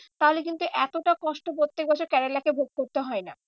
তাহলে কিন্তু এতটা কষ্ট প্রত্যেক বছর কেরেলাকে ভোগ করতে হয় না।